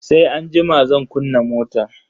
Sai anjima zan kunna motan.